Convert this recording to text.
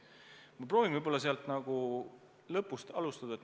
Ma proovin lõpust alustada.